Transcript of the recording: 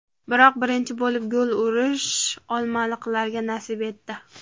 Biroq birinchi bo‘lib gol urish olmaliqliklarga nasib etdi.